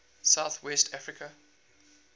south west africa